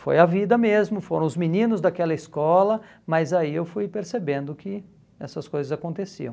Foi a vida mesmo, foram os meninos daquela escola, mas aí eu fui percebendo que essas coisas aconteciam.